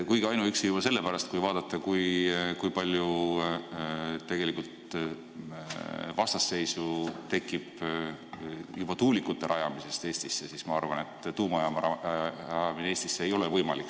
Kuigi ainuüksi juba sellepärast, et kui vaadata, kui palju tegelikult vastasseisu tekib juba tuulikute rajamisest Eestisse, ma arvan, et tuumajaama rajamine Eestisse ei ole võimalik.